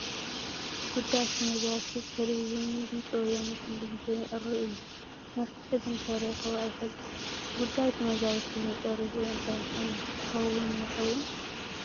ጉዳይ ተመዛበልቲ ብቴለቪዥን ድምፂ ወያነ ኩሉ ግዜ ይቐርብ እዩ፡፡ መፍትሒ ግን ተረኺቡ ኣይፈልጥን፡፡ ጉዳይ ተመዛበልቲ መጨረሽኡ እንታይ ኮን ክኸውን ይኸውን?